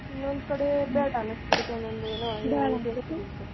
ಇನ್ನೋದ್ ಕಡೆ ಬ್ಯಾಡಾ ಅನ್ನಸ್ ಬಿಡ್ತೈತ್ ಒಂದೋಂದ್ ಏನೋ .